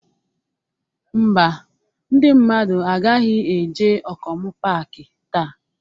Ḿbà, ndị mmadụ agaghị eje Okomu paaki taa.